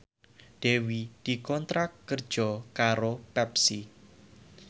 Dewi dikontrak kerja karo Pepsi